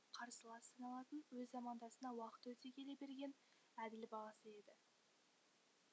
қарсыласы саналатын өз замандасына уақыт өте келе берген әділ бағасы еді